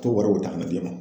To wariw ta ka na di e ma.